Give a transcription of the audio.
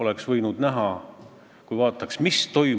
20 eurot, see oli 300 krooni, ja 300 krooni eest sai nii mõndagi.